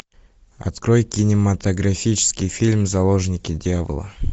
открой кинематографический фильм заложники дьявола